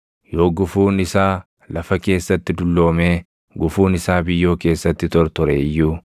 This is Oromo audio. Yoo gufuun isaa lafa keessatti dulloomee gufuun isaa biyyoo keessatti tortore iyyuu,